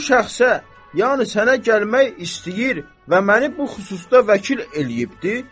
Bu şəxsə, yəni sənə gəlmək istəyir və məni bu xüsusda vəkil eləyibdir.